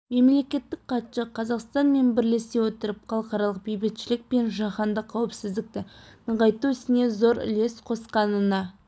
мемлекеттік хатшы қазақстан мен бірлесе отырып халықаралық бейбітшілік пен жаһандық қауіпсіздікті нығайту ісіне зор үлес қосқанына